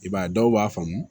I b'a ye dɔw b'a faamu